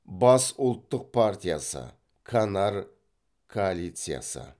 баск ұлттық партиясы канар коалициясы